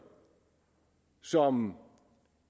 som